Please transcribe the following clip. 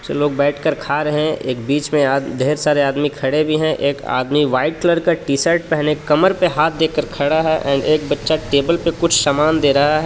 कुछ लोग बैठकर खा रहे हैं एक बीच में आ ढेर सारे आदमी खड़े भी हैं एक आदमी व्हाइट कलर का टी शर्ट पहने कमर पे हाथ देकर खड़ा है और एक बच्चा टेबल पर कुछ सामान दे रहा है.